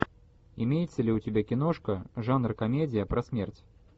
имеется ли у тебя киношка жанр комедия про смерть